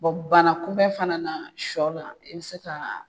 banna kunbɛn fana na shɔ la i bɛ se ka.